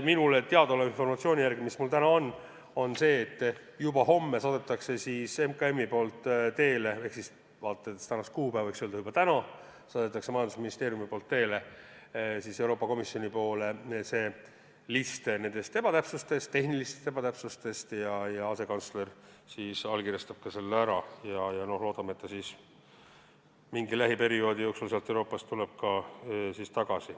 Minule teadaoleva informatsiooni järgi saadab MKM juba homme – aga vaadates kuupäeva, võiks öelda, et juba täna – Euroopa Komisjonile teele listi nendest tehnilistest ebatäpsustest ja asekantsler allkirjastab selle ning loodame, et see lähiajal sealt Euroopast ka tagasi tuleb.